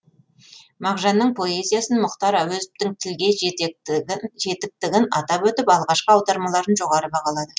мағжанның поэзиясын мұхтар әуезовтің тілге жетіктігін атап өтіп алғашқы аудармаларын жоғары бағалады